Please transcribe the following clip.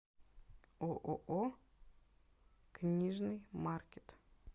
ооо книжный маркет